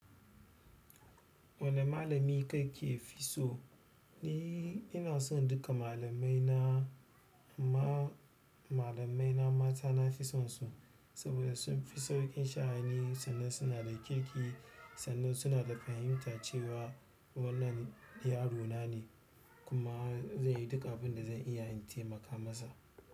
Wane malami kake fi so? Ni ina son duka malamaina. Amma malamaina mata na fi son su saboda sun fi sauƙin sha'ani sannan suna da kirki sannan suna da fahimta cewa wannan yaro na ne. Kuma zan yi duk abin da zan iya in taimaka masa.